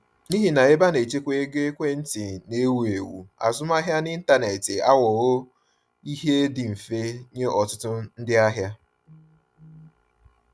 N’ihi na ebenchekwaego ekwentị na-ewu ewu, azụmahịa n’ịntanetị aghọwo ihe dị mfe nye ọtụtụ ndị ahịa.